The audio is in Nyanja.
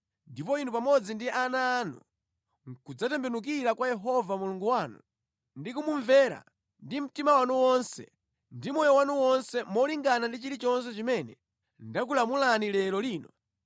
ndipo inu pamodzi ndi ana anu nʼkudzatembenukira kwa Yehova Mulungu wanu ndi kumumvera ndi mtima wanu wonse ndi moyo wanu wonse molingana ndi chilichonse chimene ndakulamulani lero lino,